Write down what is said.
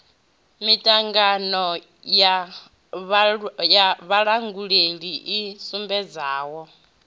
miṱangano ya vhalanguli i sumbedzaho